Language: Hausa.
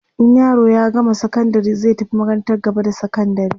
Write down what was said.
in yaro ya gama sakandari zai tafi makarantar gaba da sakandari